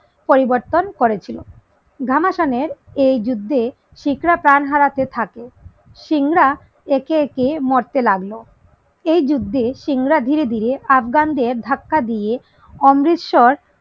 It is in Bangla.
পরিবর্তন করেছিল গামা খানের এই যুদ্ধে শিখ রা প্রাণ হারাতে থাকে সিং রা একে একে মরতে লাগলো এই যুদ্ধে সিং রা ধীরে ধীরে আফগান দের ধাক্কা দিয়ে অমৃতসর